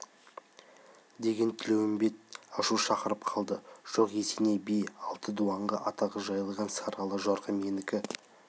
деген тілеуімбет ашу шақырып қалды жоқ есеней би алты дуанға атағы жайылған сары ала жорға менікі